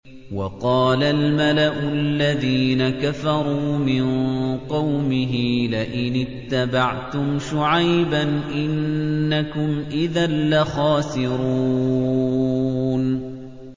وَقَالَ الْمَلَأُ الَّذِينَ كَفَرُوا مِن قَوْمِهِ لَئِنِ اتَّبَعْتُمْ شُعَيْبًا إِنَّكُمْ إِذًا لَّخَاسِرُونَ